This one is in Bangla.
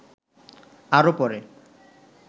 আরো পরে